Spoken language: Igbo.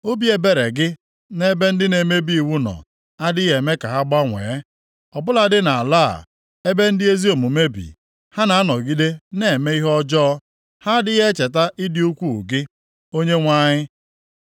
Obi ebere gị nʼebe ndị na-emebi iwu nọ adịghị eme ka ha gbanwee. Ọ bụladị nʼala a, ebe ndị ezi omume bi, ha na-anọgide na-eme ihe ọjọọ. Ha adịghị echeta ịdị ukwuu gị, Onyenwe anyị.